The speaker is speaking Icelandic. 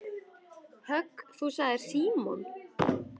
Högg þú sagði Símon.